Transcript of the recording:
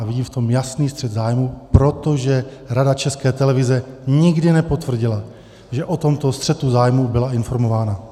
A vidím v tom jasný střet zájmů, protože Rada České televize nikdy nepotvrdila, že o tomto střetu zájmů byla informována.